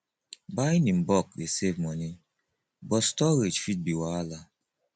buying in bulk dey save money but storage fit be wahala